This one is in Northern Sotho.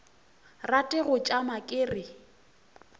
rate go tšama ke re